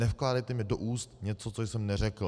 Nevkládejte mi do úst něco, co jsem neřekl.